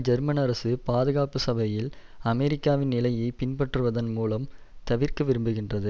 German அரசு பாதுகாப்பு சபையில் அமெரிக்காவின் நிலையை பின்பற்றுவதன் மூலம் தவிர்க்கவிரும்புகின்றது